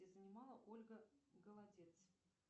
занимала ольга голодец